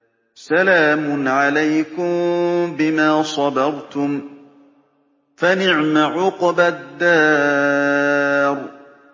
سَلَامٌ عَلَيْكُم بِمَا صَبَرْتُمْ ۚ فَنِعْمَ عُقْبَى الدَّارِ